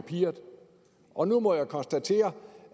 i papirerne og nu må jeg konstatere